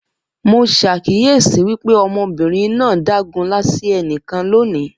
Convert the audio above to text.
Mo ṣàkíyesi wípé ọmọbìnrin náà dágunlá sí ẹnìkan loni